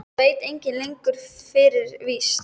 Það veit enginn lengur fyrir víst.